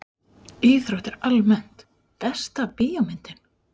Íþróttir almennt Besta bíómyndin?